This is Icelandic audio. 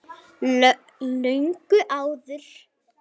Löngu áður.